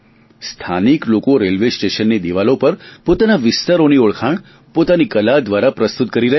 સ્થાનિક લોકો રેલવેસ્ટેશનની દિવાલો પર પોતાના વિસ્તારોની ઓળખાણ પોતાની કલા દ્વારા પ્રસ્તુત કરી રહ્યા છે